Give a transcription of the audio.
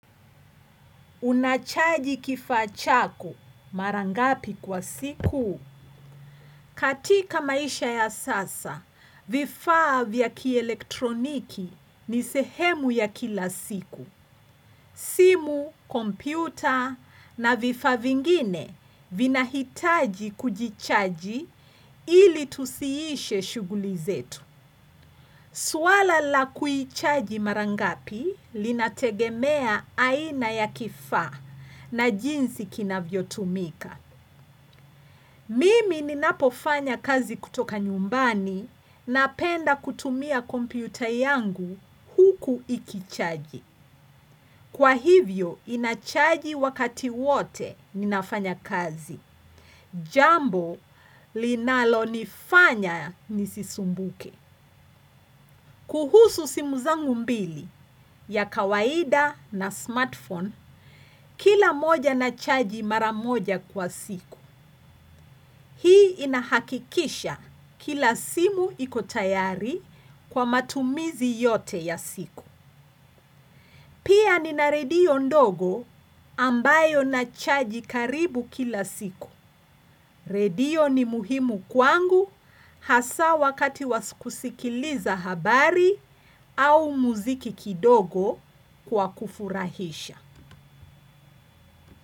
Unachaji kifaa chako mara ngapi kwa siku? Katika maisha ya sasa, vifaa vya kielektroniki ni sehemu ya kila siku. Simu, kompyuta na vifaa vingine vinahitaji kujichaji ili tusiishe shughuli zetu. Swala la kuichaji mara ngapi linategemea aina ya kifaa na jinsi kinavyotumika. Mimi ninapofanya kazi kutoka nyumbani napenda kutumia kompyuta yangu huku ikichaji. Kwa hivyo, inachaji wakati wote ninafanya kazi. Jambo, linalo nifanya nisisumbuke. Kuhusu simu zangu mbili ya kawaida na smartphone kila moja nachaji mara moja kwa siku. Hii inahakikisha kila simu iko tayari kwa matumizi yote ya siku. Pia nina redio ndogo ambayo nachaji karibu kila siku. Redio ni muhimu kwangu hasa wakati wa kusikiliza habari au muziki kidogo kwa kufurahisha.